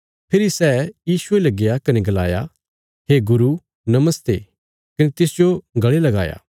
फेरी सै यीशुये ले गया कने गलाया हे गुरू नमस्ते कने तिसजो गल़े लगाया